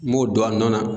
N b'o don a nɔ la